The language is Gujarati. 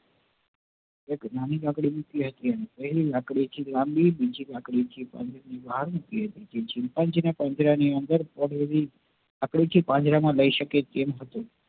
એક નાની લાકડી મૂકી અને એક પેહલી લાકડી થોડી મોટી અન chimpanzee ના પાંજરા માં લઇ સકે તેવી હત